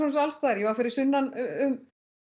og allstaðar ég var fyrir sunnan um